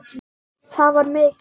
Það var mikið.